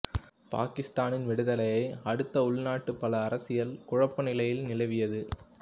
பாகிஸ்தானின் விடுதலையை அடுத்து உள்நாட்டில் பல அரசியல் குழப்பநிலை நிலவியது